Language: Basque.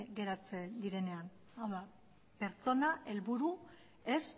geratzen direnean hau da pertsona helburu ez